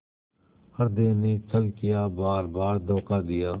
हृदय ने छल किया बारबार धोखा दिया